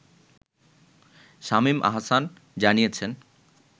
শামীম আহসান জানিয়েছেন